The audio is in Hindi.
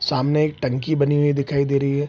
सामने एक टंकी बनी हुई दिखाई दे रही है।